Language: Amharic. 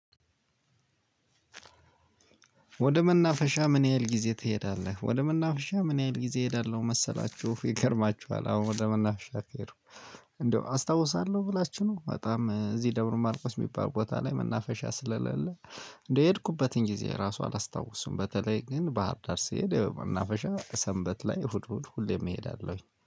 ወደ መናፈሻ ምን ያህል ጊዜ ትሄዳለህ? ወደ መናፈሻ ምን ያህል ጊዜ እሄዳለሁ መሰላችሁ። ይገርማችኋል አሁን ወደ መናፍሻ ከሄድኩ። እንደው አስታውሳለሁ ብላችሁ ነው በጣም እዚህ ደብረ ማርቆስ የሚባል ቦታ ላይ መናፈሻ ስለሌለ። የሄድኩበትን ጊዜ ራሱ አላስታውስም። በተለይ ግን ባህር ዳር ስሄድ ያው መናፈሻ ሰንበት ላይ እሁድ እሁድ ሁሌም እሄዳለሁኝ